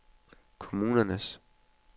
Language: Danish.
kommunens